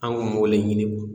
An k'o mɔgɔ de ɲini